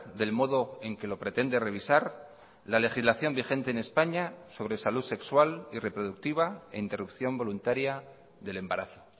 del modo en que lo pretende revisar la legislación vigente en españa sobre salud sexual y reproductiva e interrupción voluntaria del embarazo